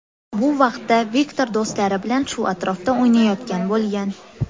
Bu vaqtda Viktor do‘stlari bilan shu atrofda o‘ynayotgan bo‘lgan.